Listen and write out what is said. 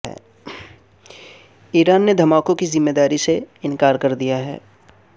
ایران نے دھماکوں کی ذمہ داری سے انکار کردیا ہے